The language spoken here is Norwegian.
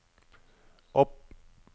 opp